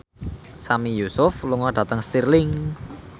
Sami Yusuf lunga dhateng Stirling